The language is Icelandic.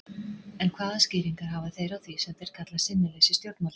En hvaða skýringar hafa þeir á því sem þeir kalla sinnuleysi stjórnvalda?